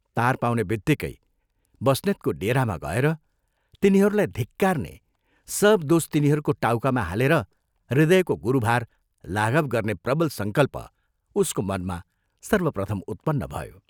तार पाउनेबित्तिकै बस्नेतको डेरामा गएर तिनीहरूलाई धिक्कार्ने, सब दोष तिनीहरूको टाउकामा हालेर हृदयको गुरुभार लाघव गर्ने प्रबल संकल्प उसको मनमा सर्वप्रथम उत्पन्न भयो।